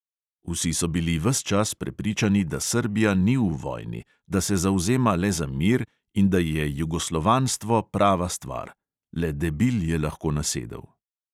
Vsi so bili ves čas prepričani, da srbija ni v vojni, da se zavzema le za mir in da je jugoslovanstvo prava stvar – le debil je lahko nasedel.